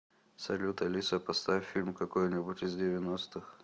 салют алиса поставь фильм какой нибудь из девяностых